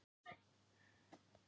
Lárentíus, hækkaðu í græjunum.